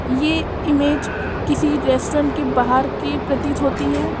ये इमेज किसी रेस्टोरेंट के बाहर की प्रतीत होती है।